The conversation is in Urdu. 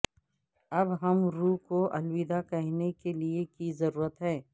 اب ہم روح کو الوداع کہنے کے لئے کی ضرورت ہے